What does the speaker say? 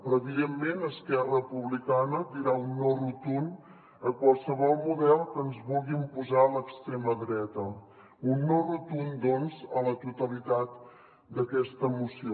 però evidentment esquerra republicana dirà un no rotund a qualsevol model que ens vulgui imposar l’extrema dreta un no rotund doncs a la totalitat d’aquesta moció